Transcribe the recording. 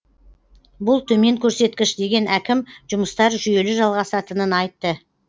бұл төмен көрсеткіш деген әкім жұмыстар жүйелі жалғасатынын айтты